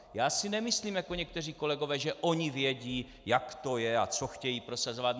Já si nemyslím jako někteří kolegové, že oni vědí, jak to je a co chtějí prosazovat.